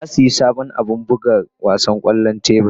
Na sayi sabon abin buga wasan kwallon tebur.